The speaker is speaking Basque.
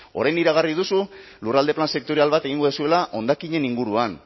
orain iragarri duzu lurralde plan sektorial bat egingo duzuela hondakinen inguruan